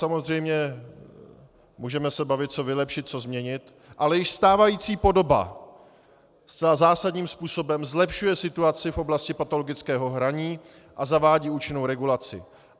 Samozřejmě můžeme se bavit, co vylepšit, co změnit, ale již stávající podoba zcela zásadním způsobem zlepšuje situaci v oblasti patologického hraní a zavádí účinnou regulaci.